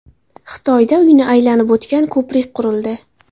Xitoyda uyni aylanib o‘tgan ko‘prik qurildi.